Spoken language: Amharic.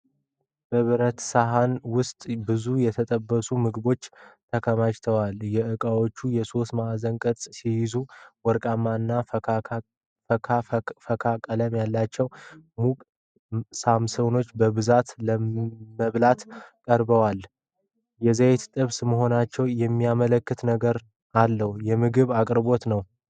በብረታ ሳህን ውስጥ ብዙ የተጠበሱ ምግቦች ተከማችተዋል። እቃዎቹ የሶስት ማዕዘን ቅርጽ ሲይዙ፣ ወርቃማና ፈካካ ቀለም አላቸው። ሙቅ ሰሞሳዎች በብዛት ለመብላት ቀርበዋል። የዘይት ጥብስ መሆናቸውን የሚያመለክት ነገር አለ። የምግብ አቅርቦት ነው።